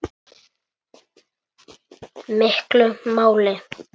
miklu máli.